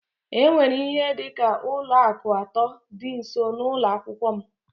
E nwere ihe dị ka ụlọ akụ atọ dị nso n'ụlọ akwụkwọ m